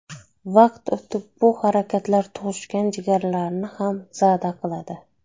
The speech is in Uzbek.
Vaqt o‘tib bu harakatlar tug‘ishgan jigarlarini ham zada qiladi.